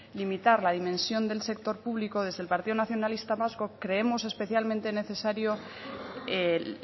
limitar la dimensión del sector público desde el partido nacionalista vasco creemos especialmente necesario el